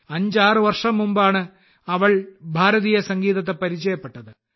56 വർഷം മുമ്പാണ് അവൾ ഭാരതീയ സംഗീതത്തെ പരിചയപ്പെട്ടത്